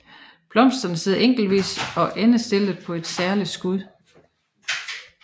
Blomsterne sidder enkeltvis og endestillet på et særligt skud